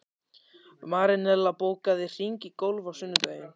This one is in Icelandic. Marinella, bókaðu hring í golf á sunnudaginn.